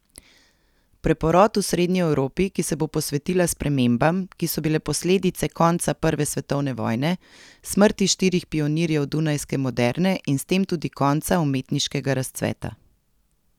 Preporod v srednji Evropi, ki se bo posvetila spremembam, ki so bile posledica konca prve svetovne vojne, smrti štirih pionirjev dunajske moderne in s tem tudi konca umetniškega razcveta.